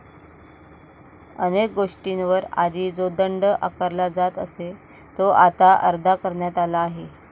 अनेक गोष्टींवर आधी जो दंड आकारला जात असे तो आता अर्धा करण्यात आला आहे